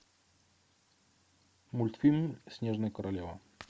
мультфильм снежная королева